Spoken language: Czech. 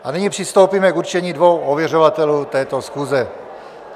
A nyní přistoupíme k určení dvou ověřovatelů této schůze.